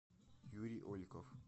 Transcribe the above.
юрий ольков